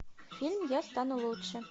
фильм я стану лучше